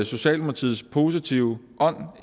socialdemokratiets positive ånd